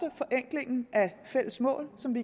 forenklingen af fælles mål som vi